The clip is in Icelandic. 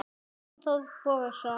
Stefán Þór Bogason